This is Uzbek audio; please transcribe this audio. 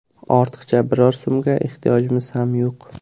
Ortiqcha biror so‘mga ehtiyojimiz ham yo‘q.